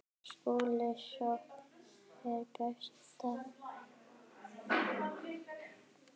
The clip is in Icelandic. SKÚLI: Sókn er besta vörnin.